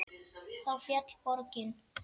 Þá féll borgin.